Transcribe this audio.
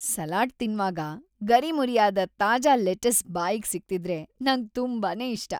Salad ತಿನ್ವಾಗ ಗರಿಮುರಿಯಾದ ತಾಜಾ ಲೆಟಿಸ್‌ ಬಾಯಿಗ್ ಸಿಗ್ತಿದ್ರೆ ನಂಗ್‌ ತುಂಬಾನೇ ಇಷ್ಟ.